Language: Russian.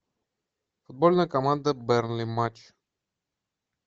футбольная команда бернли матч